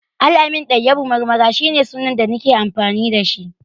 Al-amin Dayyabu Marmara shi ne sunan da nake amfani da shi